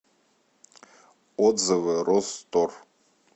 отзывы розтор